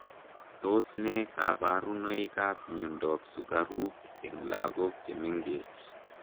Tos ne kabarunoik ap miondoop sukaruuk eng lagok chemengeech,